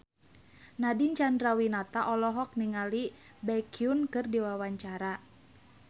Nadine Chandrawinata olohok ningali Baekhyun keur diwawancara